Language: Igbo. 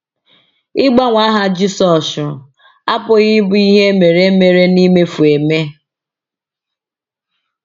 Ịgbanwe aha Jisọshụ apụghị ịbụ ihe e mere mere n’imefu eme.